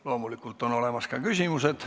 Loomulikult on olemas ka küsimused.